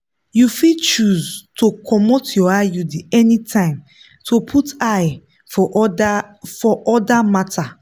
you fit choose tl comot your iud anytime to put eyes for other for other matters.